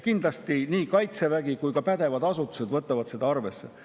Kindlasti nii Kaitsevägi kui ka pädevad asutused võtavad seda arvesse.